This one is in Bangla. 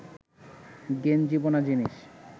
গেঞ্জি বোনা জিনিস